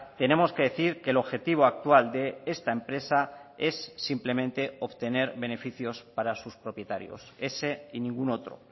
tenemos que decir que el objetivo actual de esta empresa es simplemente obtener beneficios para sus propietarios ese y ningún otro